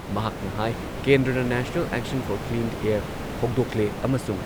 ꯃꯍꯥꯛꯅ ꯍꯥꯏ ꯀꯦꯟꯗ꯭ꯔꯅ national action for clean air ꯍꯧꯗꯣꯛꯂꯦ ꯑꯃꯁꯨꯡ